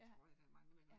Ja. Ja